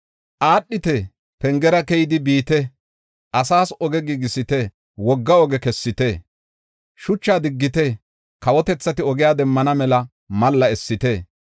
Aadhite! Pengera keyidi biite! Asaas oge giigisite! Wogga oge kessite. Shuchaa diggite; kawotethati ogiya demmana mela malla essite.